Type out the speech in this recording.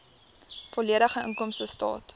volledige inkomstestaat